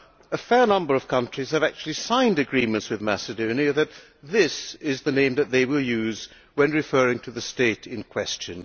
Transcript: A fair number of countries have actually signed agreements with Macedonia, and this is the name that they will use when referring to the state in question.